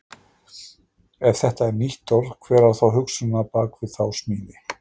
Ef þetta er nýtt orð, hver var þá hugsunin á bak við þá smíði?